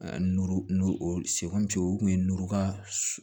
Nu o o kun ye nuka